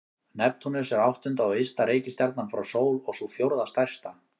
Neptúnus er áttunda og ysta reikistjarnan frá sól og sú fjórða stærsta.